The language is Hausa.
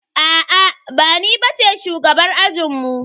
Aa ba ni bace shugabar ajinmu.